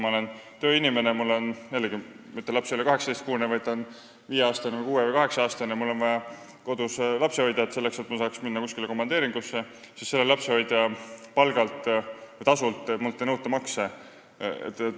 See tähendab, et kui ma olen tööinimene – mu laps ei ole 18-kuune, vaid viie-, kuue- või kaheksa-aastane – ja mul on vaja koju lapsehoidjat, selleks et ma saaks kuskile komandeeringusse minna, siis mult ei nõuta makse selle lapsehoidja palgalt või tasult.